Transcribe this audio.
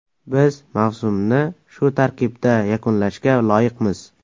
Biz mavsumni shu tarkibda yakunlashga loyiqmiz.